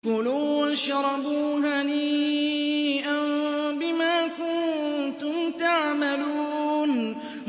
كُلُوا وَاشْرَبُوا هَنِيئًا بِمَا كُنتُمْ تَعْمَلُونَ